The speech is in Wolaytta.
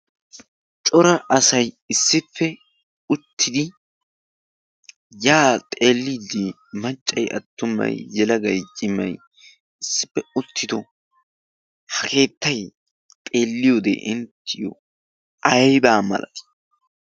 Cora asay issippe uttidi ya xeelidi maccay, attumay, yelagay, cimay issippe uttido uttido ha keettay xeeliyoode inttiyo aybba malatii?